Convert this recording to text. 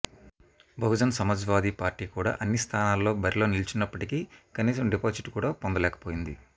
Bahujan Samajwadi party కూడా అన్ని స్థానాల్లో బరిలో నిలిచినప్పటికీ కనీసం డిపాజిట్ కూడా పొందలేకపోయింది